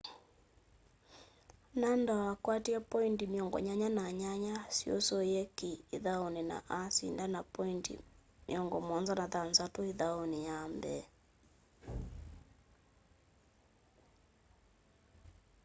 nadal akwatie poindi 88% syusîe ki îthaûnî na asinda na poindi 76 îthaûnî ya mbee